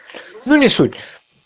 ну не суть